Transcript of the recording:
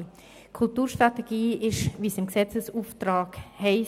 Die Kulturstrategie ist, wie es im KKFG